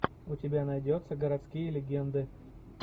у тебя найдется городские легенды